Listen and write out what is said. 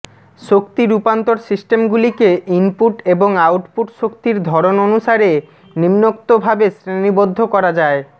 শক্তি রূপান্তর সিস্টেমগুলিকে ইনপুট এবং আউটপুট শক্তির ধরন অনুসারে নিম্নক্তভাবে শ্রেণিবদ্ধ করা যায়ঃ